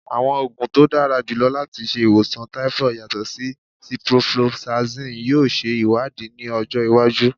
Awọn oogun to dara julọ lati ṣe iwosan typhoid yatọ si ciprofloxacin yoo ṣe iwadii ni ọjọ iwaju